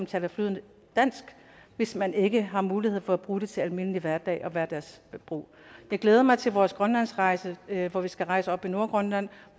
taler flydende dansk hvis man ikke har mulighed for at bruge det til almindelig hverdag og hverdagsbrug jeg glæder mig til vores grønlandsrejse hvor vi skal rejse oppe i nordgrønland